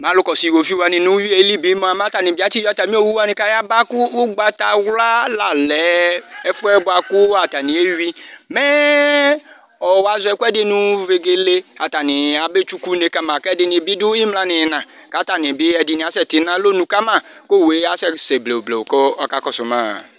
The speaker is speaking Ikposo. Mɛ alu kɔsu iwoviu wani bi mua , matani bi atsi yɔ atami owu wani kayaba kʋ ugbataɣla la lɛɛɛ ɛfuɛ buakʋ ataniewui mɛɛɛ ɔɔ woazɔ ɛkuɛdi nuu vegele atani abetsukune kama kɛdi bidu imla niina katani bi ɛdini asɛti nalɔnu kamaKʋ owue kasɛsɛ blewublewu kʋ ɔkakɔsʋmaa